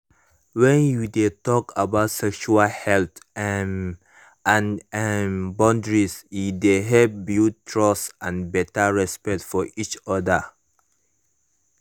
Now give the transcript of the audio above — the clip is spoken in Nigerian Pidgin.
when you de talk about sexual health um and um boundaries e de help build trust and better respect for each other